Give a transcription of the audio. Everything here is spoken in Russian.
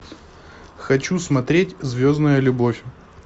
хочу смотреть звездная любовь